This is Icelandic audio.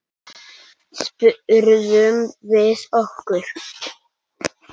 spurðum við okkur.